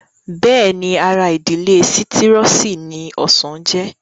Bẹ́ẹ̀ni ara ìdílé sítírọ́ọ̀sì ni ọsàn jẹ́